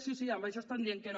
sí sí en això estant dient que no